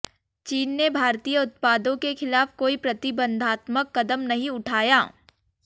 चीन ने भारतीय उत्पादों के खिलाफ कोई प्रतिबंधात्मक कदम नहीं उठाया